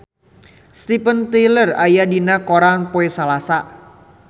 Steven Tyler aya dina koran poe Salasa